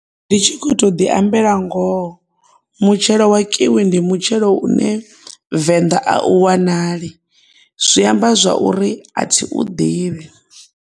Ndi tshi kho to ḓi ambela ngoho mutshelo wa kiwi ndi mutshelo une Venda a u wanali zwi amba zwori a thi u ḓivhi.